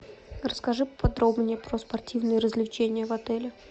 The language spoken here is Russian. расскажи подробнее про спортивные развлечения в отеле